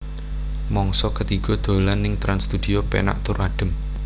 Mangsa ketiga dolan ning Trans Studio penak tur adem